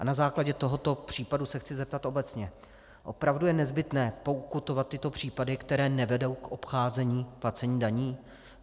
A na základě tohoto případu se chci zeptat obecně: Opravdu je nezbytné pokutovat tyto případy, které nevedou k obcházení placení daní?